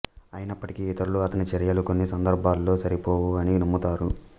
అయినప్పటికీ ఇతరులు అతని చర్యలు కొన్ని సందర్భాల్లో సరిపోవు అని నమ్ముతారు